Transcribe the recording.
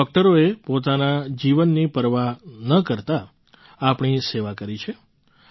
આપણા ડૉક્ટરોએ પોતાના જીવની પરવા ન કરતા આપણી સેવા કરી છે